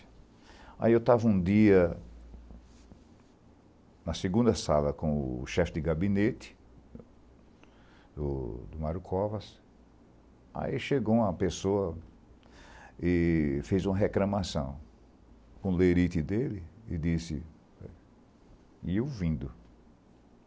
Aí eu estava um dia na segunda sala com o chefe de gabinete, o Mário Covas, aí chegou uma pessoa e fez uma reclamação com o leirite dele e disse, e eu ouvindo.